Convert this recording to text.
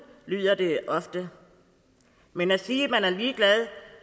lyder der ofte men at sige at man er ligeglad